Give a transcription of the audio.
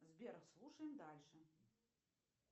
сбер слушаем дальше